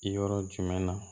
Yɔrɔ jumɛnɛna